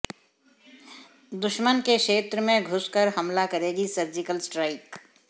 दुश्मन के क्षेत्र में घुसकर हमला करेगी सर्जिकल स्ट्राइक